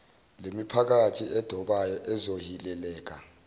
lemiphakathi edobayo ezohileleka